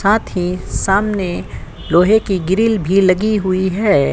साथ ही सामने लोहे की ग्रिल भी लगी हुई है।